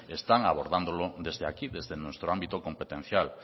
están abordándolo desde aquí desde nuestro ámbito competencial